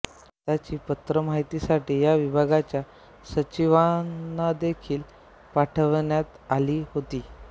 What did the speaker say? त्याची प्रत माहितीसाठी या विभागाच्या सचिवांनादेखील पाठवण्यात आली होती